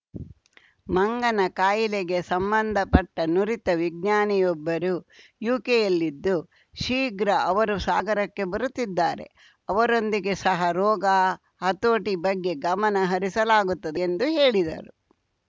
ಮಂಗನಕಾಯಿಲೆಗೆ ಸಂಬಂಧಪಟ್ಟನುರಿತ ವಿಜ್ಞಾನಿಯೊಬ್ಬರು ಯುಕೆ ಯಲ್ಲಿದ್ದು ಶೀಘ್ರ ಅವರು ಸಾಗರಕ್ಕೆ ಬರುತ್ತಿದ್ದಾರೆ ಅವರೊಂದಿಗೆ ಸಹ ರೋಗ ಹತೋಟಿ ಬಗ್ಗೆ ಗಮನ ಹರಿಸಲಾಗುತ್ತದೆ ಎಂದು ಹೇಳಿದರು